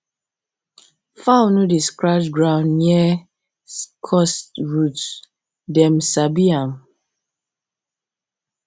fowl no dey scratch ground near cursed roots dem sabi am